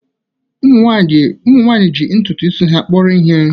ụmụ nwanyị ji ntutu isi ha kpọrọ ihe